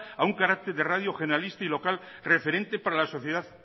a un carácter de radio generalista y local referente para la sociedad